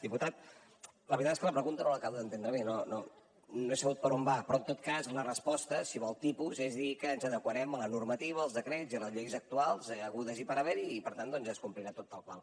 diputat la veritat és que la pregunta no l’acabo d’entendre bé no he sabut per on va però en tot cas la resposta si vol tipus és dir que ens adequarem a la normativa als decrets i a les lleis actuals hagudes i per haver hi i per tant doncs es complirà tot tal qual